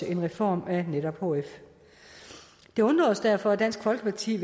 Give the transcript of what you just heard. en reform af netop hf det undrer os derfor at dansk folkeparti